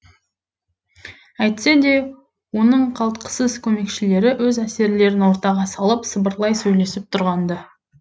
әйтсе де оның қалтқысыз көмекшілері өз әсерлерін ортаға салып сыбырлай сөйлесіп тұрған ды